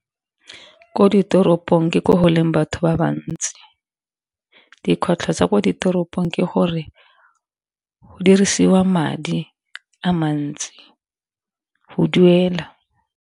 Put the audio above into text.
Ko ditoropong ke ko go leng batho ba bantsi, dikgwetlho tsa ko ditoropong ke gore go dirisiwa madi a mantsi go duela.